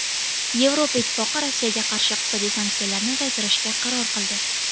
Yevropa Ittifoqi Rossiyaga qarshi iqtisodiy sanksiyalarni uzaytirishga qaror qildi.